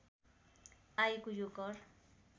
आएको यो कर